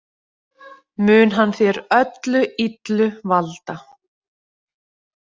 Mun hann þér öllu illu valda.